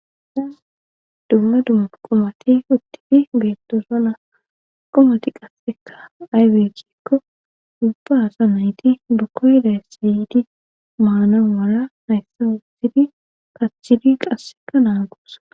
Izan dumma dumma qumati izan beetto zola qomati qasseka aybekkikko dubbaasa nayti bukoyla siydi maana wara hayssa uxidi paschiri qasseka naa guusa